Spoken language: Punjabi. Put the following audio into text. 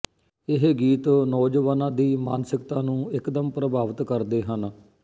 ਇਹ ਗੀਤ ਨੌਜਵਾਨਾਂ ਦੀ ਮਾਨਸਿਕਤਾ ਨੂੰ ਇਕਦਮ ਪ੍ਰਭਾਵਿਤ ਕਰਦੇ ਹਨ